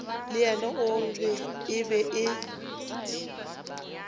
le yena e be e